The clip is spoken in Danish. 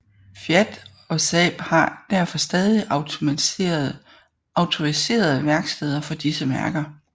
Fiat og Saab og har derfor stadig autoriserede værksteder for disse mærker